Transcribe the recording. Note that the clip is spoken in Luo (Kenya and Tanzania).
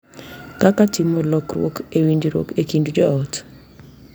Kaka timo lokruok e winjruok e kind jo ot,